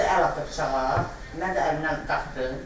Özü əl atıb bıçağa, mən də əlimdən qaçdım.